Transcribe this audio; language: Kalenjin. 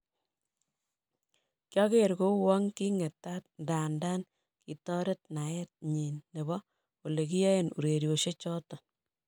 Kiager kouon king'etat ndanda kitaret naet nyin nebo ole kiyaen urerosiek choton'